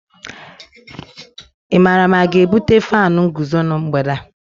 Ị maara ma a ga-ebute fánu nguzo na mgbede a?